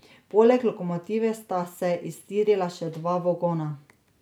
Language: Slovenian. Poleg lokomotive sta se iztirila še dva vagona.